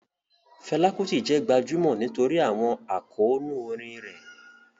Fela Kuti jẹ́ gbajúmọ̀ nítorí àwọn àkóónú orin rẹ̀.